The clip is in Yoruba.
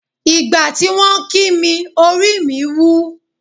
Ìgbà tí wọ́n kì mí orí mi wú.